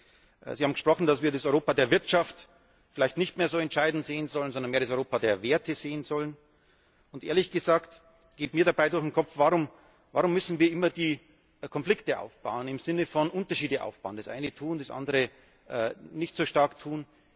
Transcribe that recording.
Sie haben davon gesprochen, dass wir das Europa der Wirtschaft vielleicht nicht mehr als so entscheidend sehen sollen, sondern mehr das Europa der Werte sehen sollen. Ehrlich gesagt geht mir dabei durch den Kopf Warum müssen wir immer die Konflikte aufbauen im Sinne von Unterschiede aufbauen, das eine tun und das andere nicht so stark tun?